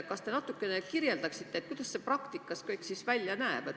Kas te natukene kirjeldaksite, kuidas see kõik siis praktikas välja näeb?